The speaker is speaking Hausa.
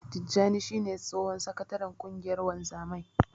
Tijjani shi ne tsohon sakataren ƙungiyar wanzamai.